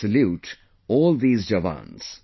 I salute all these jawans